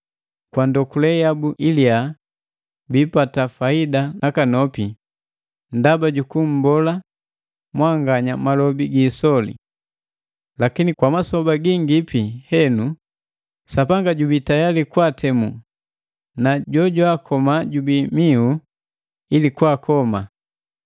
Kwa ndokule yabu iliya biipata faida nakanopi ndaba jukummbola mwanganya malobi gi isoli. Lakini kwa masoba gingipi henu, Sapanga jubii tayali kwaatemu na Jojwaakoma jubii mihu ili kwaakoma!